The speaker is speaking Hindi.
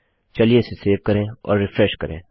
चलिए इसे सेव करें और रिफ्रेश करें